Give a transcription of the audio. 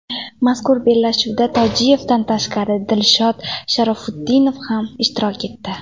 Mazkur bellashuvda Tojiyevdan tashqari Dilshod Sharofutdinov ham ishtirok etdi.